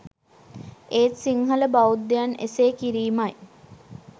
ඒත් සිංහල බෞද්ධයන් එසේ කිරීමයි